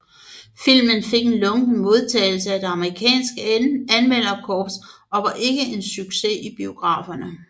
Filmen fik en lunken modtagelse af det amerikanske anmelderkorps og var ikke en succes i biograferne